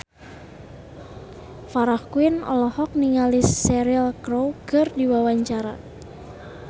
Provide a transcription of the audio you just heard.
Farah Quinn olohok ningali Cheryl Crow keur diwawancara